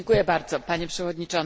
Panie Przewodniczący!